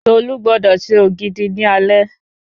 Tolú gbọdọ̀ se Ògidì ní alẹ́